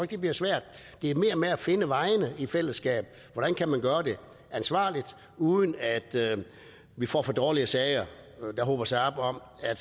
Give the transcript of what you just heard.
det bliver svært det er mere med at finde vejene i fællesskab hvordan kan man gøre det ansvarligt uden at vi får for dårlige sager der hober sig op om at